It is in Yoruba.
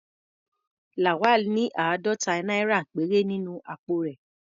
Lawal ní àádọ́ta náírà péré nínú àpò rẹ̀.